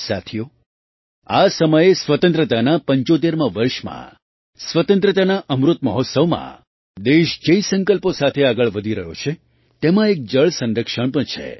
સાથીઓ આ સમયે સ્વતંત્રતાનાં ૭૫મા વર્ષમાં સ્વતંત્રતાના અમૃત મહોત્સવમાં દેશ જે સંકલ્પો સાથે આગળ વધી રહ્યો છે તેમાં એક જળ સંરક્ષણ પણ છે